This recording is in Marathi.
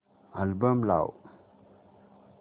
अल्बम लाव